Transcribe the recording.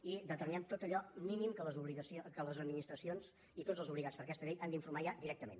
i determinem tot allò mínim de què les administracions i tots els obligats per aquesta llei han d’informar ja directament